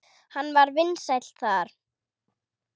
Hann var vinsæll þar.